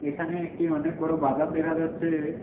এখানে একটি অনেক বড়ো বাজার দেখা যাচ্ছে।